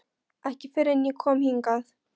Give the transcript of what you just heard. Ekki fyrr en ég kom hingað.